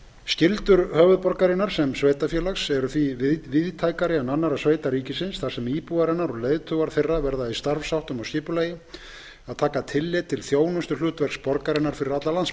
skyldur höfuðborgarinnar sem sveitarfélags eru því víðtækari en annarra sveita ríkisins þar sem íbúar hennar og leiðtogar þeirra verða í starfsháttum og skipulagi að taka tillit til þjónustuhlutverks borgarinnar fyrir alla